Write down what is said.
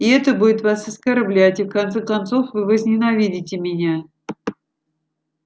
и это будет вас оскорблять и в конце концов вы возненавидите меня